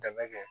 Dɛmɛ kɛ